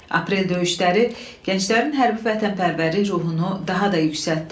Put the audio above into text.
Aprel döyüşləri gənclərin hərbi vətənpərvərlik ruhunu daha da yüksəltdi.